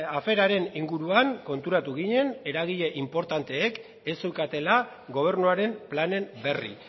aferaren inguruan konturatu ginen eragile inportanteek ez zeukatela gobernuaren planen berri